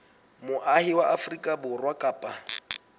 moahi wa afrika borwa kapa